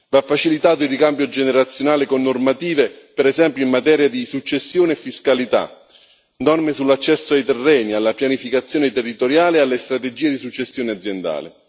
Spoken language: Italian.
Va facilitato il ricambio generazionale con normative, per esempio in materia di successione e fiscalità, norme sull'accesso ai terreni, alla pianificazione territoriale e alle strategie di successione aziendale.